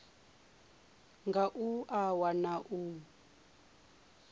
ra nga a wana u